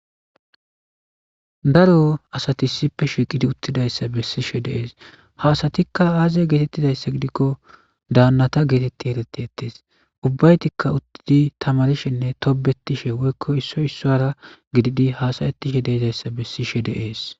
daro asati issippe shiqidi uttidayssa bessishe de7es ha asatikka aaze geetettizayssa gidikko daannata geetetti erettettees ubbaytikka uttidi tamarishenne tobetishe woykko issoy issara gididi hasayetishe deezayssa bessishe de7es